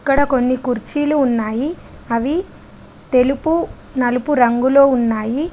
ఇక్కడ కొన్ని కుర్చీలు ఉన్నాయి అవి తెలుపు నలుపు రంగులో ఉన్నాయి.